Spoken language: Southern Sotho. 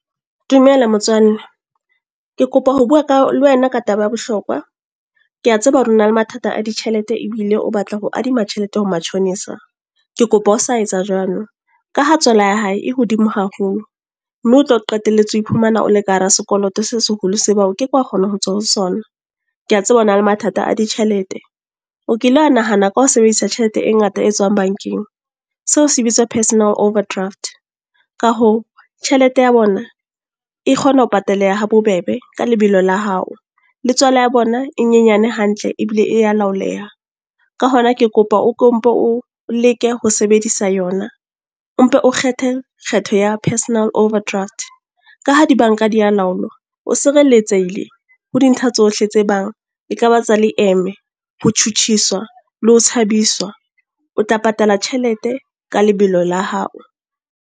Dumela motswalle. Ke kopa ho bua ka, le wena ka taba ya bohlokwa. Ke a tseba hore o na le mathata a ditjhelete, ebile o batla ho adima tjhelete ho matjhonisa. Ke kopa o sa etsa jwalo. Ka ha tswala ya hae e hodimo haholo. Mme o tlo qetelletse ho iphumana o le ka hara sekoloto se seholo sebang o ke ke wa kgona ho tswa ho sona. Ke a tseba hore na le mathata a ditjhelete. O kile wa nahana ka ho sebedisa tjhelete e ngata e tswang bank-eng. Seo se bitswa personal overdraft. Ka hoo, tjhelete ya bona e kgona ho pataleha ha bobebe, ka lebelo la hao. Le tswala ya bona e nyenyane hantle, ebile e ya laoleha. Ka hona ke kopa o mpo o leke ho sebedisa yona. O mpe o kgethe, kgetho ya personal overdraft. Ka ha di bank-a di ya laolwa, o sireletsehile ho dintlha tsohle tse bang e ka ba tsa leeme, ho tjhutjhiswa le ho tshabiswa. O tla patala tjhelete ka lebelo la hao.